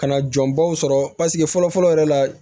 Ka na jɔnbaw sɔrɔ paseke fɔlɔ fɔlɔ yɛrɛ la